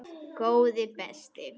Góði besti!